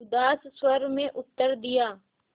उदास स्वर में उत्तर दिया